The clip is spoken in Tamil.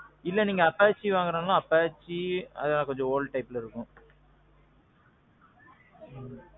இல்ல நீங்க Apache வாங்குறதுனாலும் Apache அதெல்லாம் கொஞ்ச old typeல இருக்கும்.